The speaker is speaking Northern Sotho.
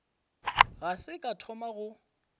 ga se ka thoma go